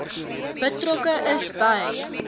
betrokke is by